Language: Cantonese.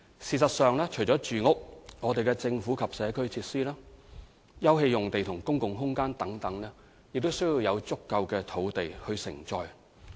事實上，除了住屋，我們的政府及社區設施、休憩用地和公共空間等，亦必須有足夠的土地承載。